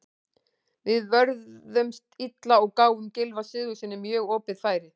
Við vörðumst illa og gáfum Gylfa Sigurðssyni mjög opið færi.